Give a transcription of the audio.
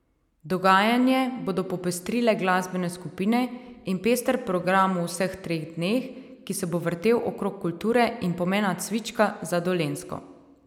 Dogajanje bodo popestrile glasbene skupine in pester program v vseh treh dneh, ki se bo vrtel okrog kulture in pomena cvička za Dolenjsko.